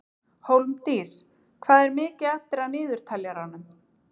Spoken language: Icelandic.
Hólmdís, hvað er mikið eftir af niðurteljaranum?